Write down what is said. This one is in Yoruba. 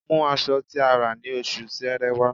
Mú aṣọ tí a rà ní Oṣù Sẹẹrẹ wá